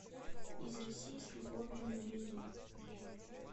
из россии с любовью набери